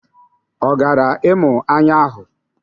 Ọ gara ịmụ anya ahụ?